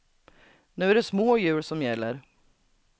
Nu är det små hjul som gäller.